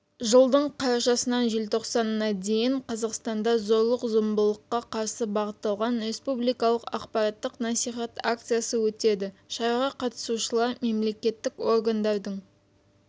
жылдың қарашасынан желтоқсанына дейін қазақстанда зорлық-зомбылыққа қарсы бағытталған республикалық ақпараттық-насихат акциясы өтеді шараға қатысушылар мемлекеттік органдардың